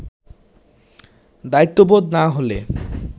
দায়িত্ববোধ না হলে